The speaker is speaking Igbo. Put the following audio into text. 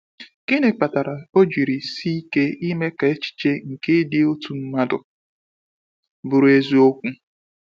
Gịnị kpatara o jiri sike ime ka echiche nke ịdị otu mmadụ bụrụ eziokwu?